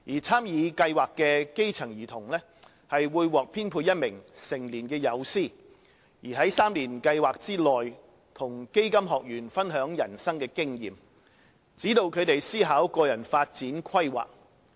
參與計劃的基層兒童會獲編配一名成年友師，在3年計劃內與基金學員分享人生經驗，指導他們思考個人發展規劃。